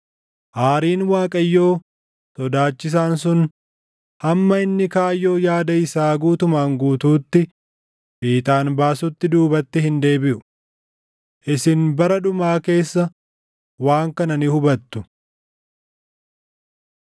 Aariin Waaqayyoo, sodaachisaan sun hamma inni kaayyoo yaada isaa guutumaan guutuutti fiixaan baasutti duubatti hin deebiʼu. Isin bara dhumaa keessa waan kana ni hubattu.